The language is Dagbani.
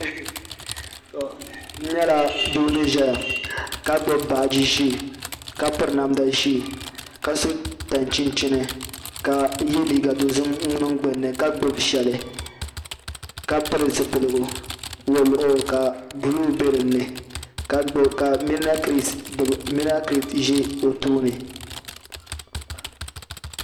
N nyɛla doo ni ʒɛya ka gbubi baaji ʒiɛ kq piri namdi ʒiɛ ka so tani chinchin ka yɛ liiga dozim niŋ gbunni ka gbubi shɛli ka pili zipiligu woliɣu ka buluu ka Mina kirɛt ʒɛ o tooni